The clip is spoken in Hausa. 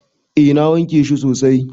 Eh na wanke shi sosai.